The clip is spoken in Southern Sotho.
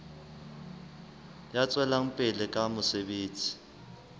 ya tswelang pele ka mosebetsi